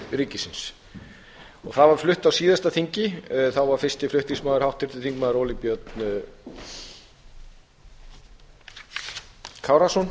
ríkisins það var flutt á síðasta þingi þá var fyrsti flutningsmaður óli björn kárason